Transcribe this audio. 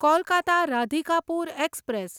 Kolkata Radhikapur express